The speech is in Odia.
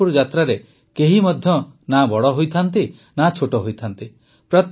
ପଂଢରପୁର ଯାତ୍ରାରେ କେହି ମଧ୍ୟ ନା ବଡ଼ ହୋଇଥାଏ ନା ଛୋଟ ହୋଇଥାଏ